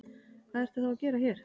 Hvað ertu þá að gera hér?